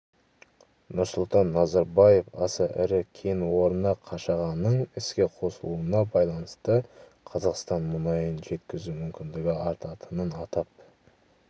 нұрсұлтан назарбаев аса ірі кен орны қашағанның іске қосылуына байланысты қазақстан мұнайын жеткізу мүмкіндігі артатынын атап